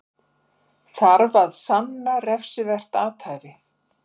Þarf að sanna refsivert athæfi